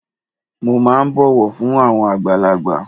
Mo máà ń bọ̀wọ̀ fún àwọn àgbàlagbà.